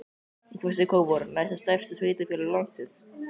En hvað segir Kópavogur, næst stærsta sveitarfélag landsins?